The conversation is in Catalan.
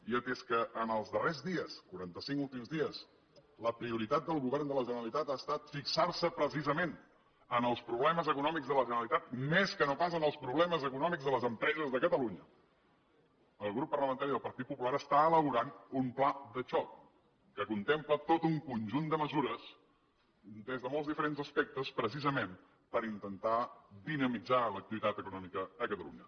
i atès que els darrers dies quaranta cinc últims dies la prioritat del govern de la generalitat ha estat fixar se precisament en els problemes econòmics de la generalitat més que no pas en els problemes econòmics de les empreses de catalunya el grup parlamentari del partit popular està elaborant un pla de xoc que contempla tot un conjunt de mesures des de molt diferents aspectes precisament per intentar dinamitzar l’activitat econòmica a catalunya